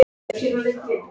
Ertu vitlaus maður?